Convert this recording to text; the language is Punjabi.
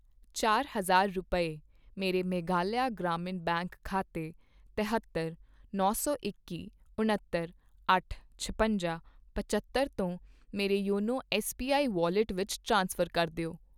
ਚਾਰ ਹਜ਼ਾਰ ਰੁਪਏ, ਮੇਰੇ ਮੇਘਾਲਿਆ ਗ੍ਰਾਮੀਣ ਬੈਂਕ ਖਾਤੇ ਤਹੇਤਰ, ਨੌ ਸੌ ਇੱਕੀ, ਉਣੱਤਰ, ਅੱਠ, ਛਪੰਜਾ, ਪਝੱਤਰ ਤੋਂ ਮੇਰੇ ਯੋਨੋ ਐੱਸਬੀਆਈ ਵੌਲਿਟ ਵਿੱਚ ਟ੍ਰਾਂਸਫਰ ਕਰ ਦਿਓ